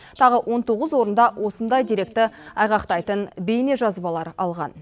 тағы он тоғыз орында осындай деректі айғақтайтын бейнежазбалар алған